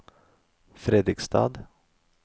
Fredrikstad